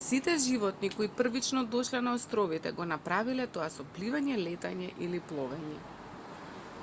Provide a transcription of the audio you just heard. сите животни кои првично дошле на островите го направиле тоа со пливање летање или пловење